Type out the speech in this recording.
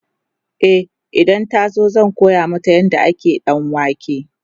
e idan ta zo zan koya mata yadda ake danwake